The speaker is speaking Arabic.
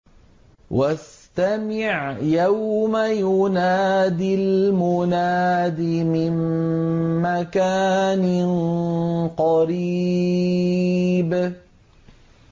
وَاسْتَمِعْ يَوْمَ يُنَادِ الْمُنَادِ مِن مَّكَانٍ قَرِيبٍ